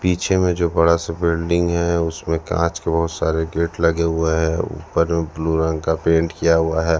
पीछे में जो बड़ासा बिल्डिंग हैं उसमें कांच के बहुत सारे गेट लगे हुए हैं ऊपर ब्लू रंग का पेंट किया हुआ हैं।